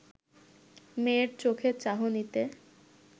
মেয়ের চোখের চাহনিতে